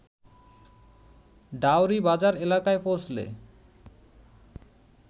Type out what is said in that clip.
ডাওরী বাজার এলাকায় পৌঁছলে